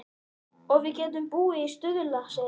Og við getum búið í Stuðlaseli.